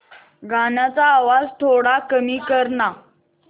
गाण्याचा आवाज थोडा कमी कर ना